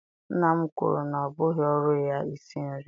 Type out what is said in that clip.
Nna m kwuru na ọ bụghị ọrụ ya isi nri.